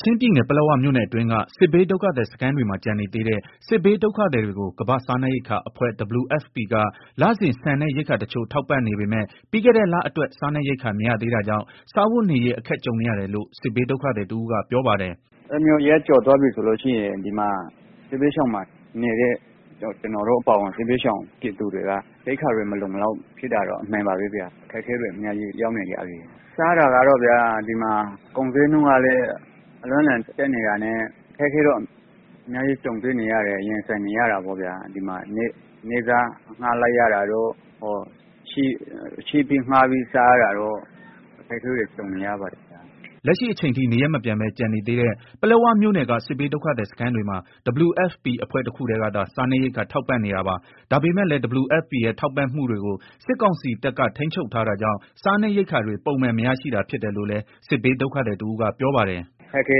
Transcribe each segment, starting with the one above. ချင်းပြည်နယ် ပလက်ဝမြို့နယ်အတွင်းက စစ်ဘေးဒုက္ခသည်စခန်းတွေမှာ ကျန်နေသေးတဲ့ စစ်ဘေးဒုက္ခသည်တွေကို ကမ္ဘာ့စားနပ်ရိက္ခာအဖွဲ့ WFP က လစဉ် ဆန်နဲ့ ရိက္ခာတချို့ ထောက်ပံ့နေပေမဲ့ ပြီးခဲ့တဲ့ လအတွက် စားနပ်ရိက္ခာမရသေးတာကြောင့် စားဝတ်နေရေး အခက်ကြုံနေရတယ်လို့ စစ်ဘေးဒုက္ခသည်တဦးကပြောပါတယ်။ “အဲလိုမျိုး ရက်ကျော်သွားပြီဆိုလို့ရှိရင် စစ်ဘေးဒုက္ခသည်စခန်းမှာနေတဲ့ ကျနော်တို့ အပါအဝင် စစ်ဘေးဒုက္ခသည်တွေက ရိက္ခာတွေမလုံမလောက်ဖြစ်တာတော့ အမှန်ပါပဲ ဗျာ၊ အခက်အခဲတွေ အများကြီးရောက်နေကြပြီ၊ စားတာကတော့ဗျာ ဒီမှာ ကုန်ဈေးနှုန်းကလည်း အလွန့်အလွန်တက်နေတာနဲ့ အခက်အခဲတွေနဲ့ ရင်ဆိုင်နေရတာပေါ့ဗျာ၊ နေ့စားအငှား လိုက်ရတာတို့ ချေးငှားပြီးစားရတာတို့ အခက်အခဲတွေ ကြုံနေရပါတယ်။” လက်ရှိအချိန်ထိ နေရပ်မပြန်ပဲ ကျန်နေသေးတဲ့ ပလက်ဝမြို့နယ်က စစ်ဘေးဒုက္ခသည် စခန်းတွေမှာ WFPအဖွဲ့တခုတည်းကသာ စားနပ်ရိက္ခာထောက်ပံ့နေတာပါ။ ဒါပေမယ့်လည်း WFPရဲ့ ထောက်ပံ့မှုကိုတွေကို စစ်ကောင်စီတပ်က ထိန်းချုပ်ထားတာကြောင့် စားနပ်ရိက္ခာ တွေ ပုံမှန်မရရှိတာဖြစ်တယ်လို့လည်း စစ်ဘေးဒုက္ခသည်တဦးကပြောပါတယ်။ “ အခ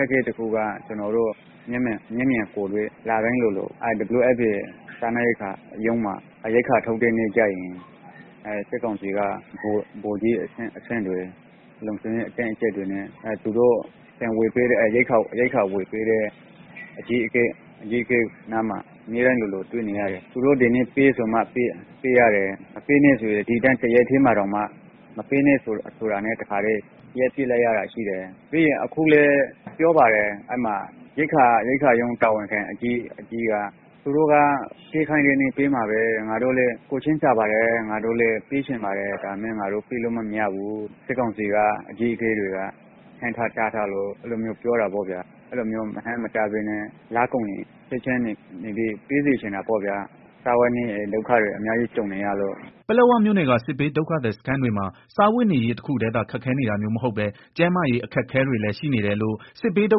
က်အခဲတခုကတော့ ကျနော်တို့ လတိုင်းလိုလို WFP ရုံးမှာ ရိက္ခာထုတ်တဲ့အခါကျရင် စစ်ကောင်စီက ဗိုလ်ကြီးအဆင့်တွေ လုံခြုံရေး အတင်းအကြပ်တွေနဲ့ ရိက္ခာဝယ်ပေးတဲ့ အကြီးအကဲနားမှာ၊ အမြဲတမ်းလိုလို တွေ့နေရတယ်၊ သူတို့ကဒီနေ့ ပေးဆိုမှ ပေးရတယ် မပေးနဲ့ တော့ ဆိုရင် ပေးနေတဲ့ ဟာကို ရပ်လိုက်ရတယ်၊ အခုလည်း ပြောပါတယ် ရိက္ခာရုံး တာဝန်ခံ အကြီးက သူတို့က ပေးခိုင်းတဲ့နေ့ပေးမှာပဲ ငါတို့လည်းကိုယ်ချင်းစာပါတယ်၊ ပေးချင်ပါတယ် ဒါပေမယ့် ငါတို့ ပေးလို့မရဘူး၊ စစ်ကောင်စီအကြီးအကဲတွေက ဟန့်ထား တားထားလို့ အဲလို မျိုးပြောတယ်။ အဲလိုမျိုးမဟန့်မတားပဲနဲ့ ပေးစေချင်တာပေါ့ဗျာ စားဝတ်နေရေး ဒုက္ခကြုံနေရတယ်။” ပလက်ဝမြို့နယ်က စစ်ဘေးဒုက္ခသည်စခန်းတွေမှာ စားဝတ်နေရေးတခုတည်းသာ ခက်ခဲနေတာမျိုးမဟုတ်ပဲကျန်းမာရေးအခက်အခဲတွေလည်း ရှိနေတယ်လို့လည်း စစ်ဘေးဒု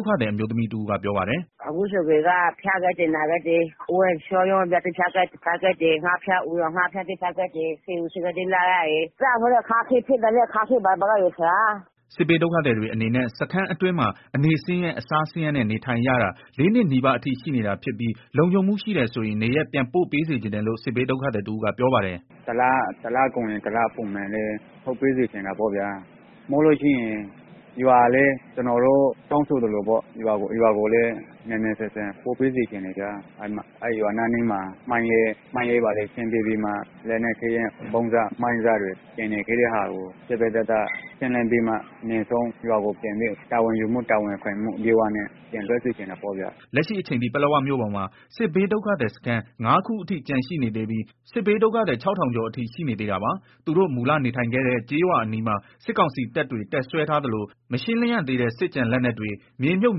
က္ခသည်အမျိုးသမီးတဦးကပြောပါတယ်။ “ အခုဆိုရင် ဖျားကြတယ်၊ နာကြတယ် ဝမ်းပျက်ဝမ်းလျောတွေ ဖြစ်ကြတယ်၊ ငှက်ဖျား အူရောင်ငှက်ဖျားတွေ ဖြစ်ကြတယ်၊ ဆေးရုံးဆေးခန်းတွေ သွားရတယ် ပိုက်ဆံတွေလည်း မရှိဘူး၊ စားဝတ်နေရေးလည်း ခက်ခဲတယ်။” စစ်ဘေးဒုက္ခသည်တွေအနေနဲ့ စခန်းအတွင်းမှာ အနေဆင်းရဲ အစားဆင်းရေးနဲ့ နေထိုင်ရတာ ၄နှစ်နီးပါးအထိရှိနေတာဖြစ်ပြီးလုံခြုံမှုရှိတယ်ဆိုရင် နေရပ်ပြန်ပို့စေချင်တယ်လို့ စစ်ဘေးဒုက္ခသည်တဦးကပြောပါတယ်။ “ တလကုန်ရင် တလထုတ်ပေးစေချင်တာပေါ့ဗျာ၊ဒါမှမဟုတ် ကျနော်တို့ တောင်းဆိုသလို ရွာကိုလည်း မြန်မြန်ဆန်ဆန်ပို့ပေးစေချင်တယ်၊ ရွာအနီးမှာ မိုင်းတွေ ဘာတွေ ရှင်းပေးပြီး လက်နက်ခဲယမ်း မိုင်းစ ဗုံးစတွေ ကျန်နေခဲ့တဲ့ သေသေချာချာ ရှင်းလင်းပြီးမှ တာဝန်ယူမှုတာဝန်ခံမှု အပြည့်နဲ့ ပြန်လွတ်စေချင်တာပေါ့ဗျာ။” လက်ရှိအချိန်ထိ ပလက်ဝမြို့ပေါ်မှာ စစ်ဘေးဒုက္ခသည်စခန်း ၅ ခုအထိ ကျန်ရှိနေသေးပြီး စစ်ဘေးဒုက္ခသည် ၆ဝဝဝကျော်အထိရှိနေသေးတာပါ။သူတိုမူလနေထိုင်ခဲ့တဲ့ ကျေးရွာအနီးမှာ စစ်ကောင်စီတပ်တွေ တပ်စွဲထားသလို မရှင်းလင်းရသေးတဲ့ စစ်ကျန်လက်နက်တွေ မြေမြုပ်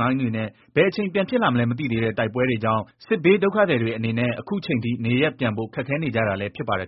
မိုင်းတွေနဲ့ ဘယ်အချိန် ပြန်ဖြစ်လာမလဲ မသိသေးတဲ့ တိုက်ပွဲတွေကြောင့် စစ်ဘေးဒုက္ခသည် တွေအနေနဲ့ အခုအချိန်ထိ နေရပ်ပြန်ဖို့ ခက်ခဲနေကြတာလည်းဖြစ်ပါတယ်